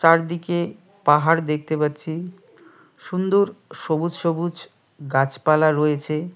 চারদিকে পাহাড় দেখতে পাচ্ছি সুন্দর সবুজ সবুজ গাছপালা রয়েছে।